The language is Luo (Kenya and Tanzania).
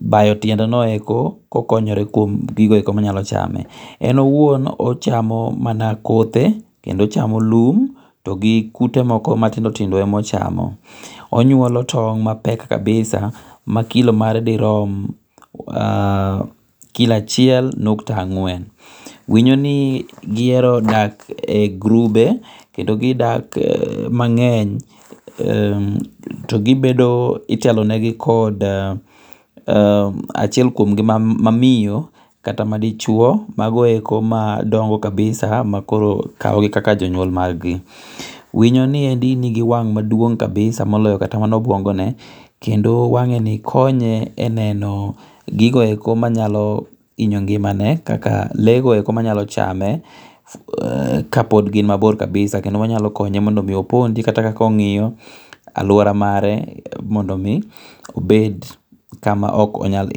bayo tiende go eko ko okonyre kuom gigo eko ma dwachame. En owuon ochamo mana kothe kendo ochamo lum gi kute moko matindotindo e ma ochamo onyuolo tong' mapek kabisa ma kilo mare di ruom kilo achiel nukta ang'wen winyo ni gi ero dak e grube kendo gi hero dak mang'eny to gi bedo itelo ne gi kod achiel kuom gi mamiyo kata ma dichuo mago eko madongo kabisa ma koro kawogi kaka jonyuol mar gi. Winyo ni endi ni gi wang' ma duong' kabisa moloyo kata obuongo ne kendo wang'e ni konye e neno gigo eko ma nyalo inyo ngimane kaka lee go eko ma nyalo chame kapod gin mabor kabisa kendo ma nyalo konye mondo mi opondi kata ka ong'iyo aluora mare mondo mi obet kama ok onyal.